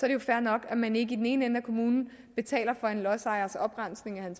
det jo fair nok at man ikke i den ene ende af kommunen betaler for en lodsejers oprensning af